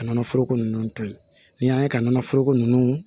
Ka nɔnɔ foroko nunnu to yen n'i y'a ye ka nɔnɔ foroko nunnu